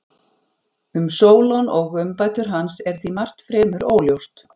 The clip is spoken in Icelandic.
Um Sólon og umbætur hans er því margt fremur óljóst.